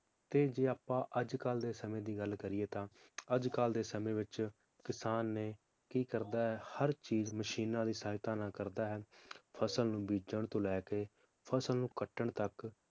ਤੇ ਜੇ ਆਪਾਂ ਅਜਕਲ ਦੇ ਸਮੇ ਦੀ ਗੱਲ ਕਰੀਏ ਤਾਂ ਅਜਕਲ ਦੇ ਸਮੇ ਵਿਚ ਕਿਸਾਨ ਨੇ ਕੀ ਕਰਦਾ ਹੈ ਹਰ ਚੀਜ਼ ਮਸ਼ੀਨਾਂ ਦੀ ਸਹਾਇਤਾ ਨਾਲ ਕਰਦਾ ਹੈ ਫਸਲ ਨੂੰ ਬੀਜਣ ਤੋਂ ਲੈ ਕੇ ਫਸਲ ਨੂੰ ਕੱਟਣ ਤੱਕ